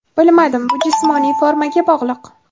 Bilmadim, bu jismoniy formaga bog‘liq.